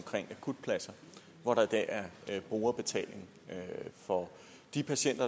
akutpladser hvor der i dag er brugerbetaling for de patienter